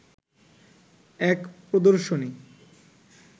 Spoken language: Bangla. এক প্রদর্শনী